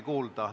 Aitäh!